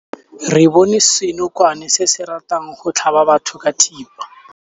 Re bone senokwane se se ratang go tlhaba batho ka thipa.